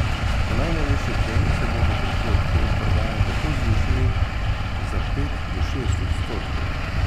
Po najnovejši oceni se bodo prihodki od prodaje tako zvišali za pet do šest odstotkov.